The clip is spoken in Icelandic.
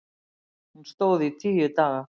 Hún stóð í tíu daga.